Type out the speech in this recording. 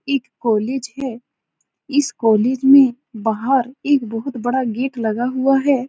इक कॉलेज है। इस कॉलेज में बाहर एक बहोत बड़ा गेट लगा हुआ है।